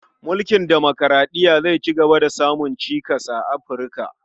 Mulkin demokuraɗiya zai cigaba da samun cikas a Afi, rka.